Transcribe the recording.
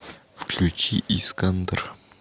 включи искандер